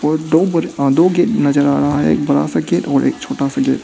और दो बड आ दो गेट नजर आ रहा है एक बड़ा सा गेट और एक छोटा सा गेट ।